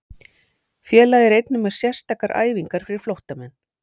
Félagið er einnig með sérstakar æfingar fyrir flóttamenn.